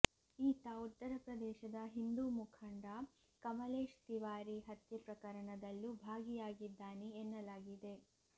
ಈತ ಉತ್ತರ ಪ್ರದೇಶದ ಹಿಂದೂ ಮುಖಂಡ ಕಮಲೇಶ್ ತಿವಾರಿ ಹತ್ಯೆ ಪ್ರಕರಣದಲ್ಲೂ ಭಾಗಿಯಾಗಿದ್ದಾನೆ ಎನ್ನಲಾಗಿದೆ